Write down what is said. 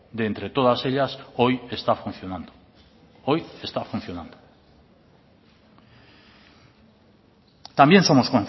de entre todas ellas hoy está funcionando hoy está funcionando también somos